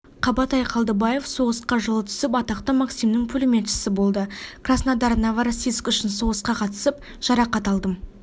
қабатай қалдыбаев соғысқа жылы түсіп атақты максимнің пулеметшісі болды краснодар новороссийск үшін соғысқа қатысып жарақат алдым